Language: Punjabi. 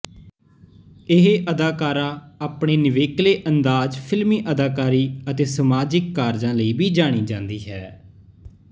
ਇਹ ਅਦਾਕਾਰਾਂ ਆਪਣੇ ਨਿਵੇਕਲੇ ਅੰਦਾਜ਼ ਫਿਲਮੀ ਅਦਾਕਾਰੀ ਅਤੇ ਸਮਾਜਿਕ ਕਾਰਜਾਂ ਲਈ ਵੀ ਜਾਣੀ ਜਾਂਦੀ ਹੈ